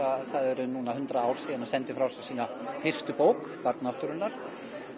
það eru hundrað ár núna síðan hann sendi frá sér sína fyrstu bók barn náttúrunnar